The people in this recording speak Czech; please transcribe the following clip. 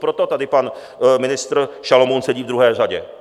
Proto tady pan ministr Šalomoun sedí v druhé řadě.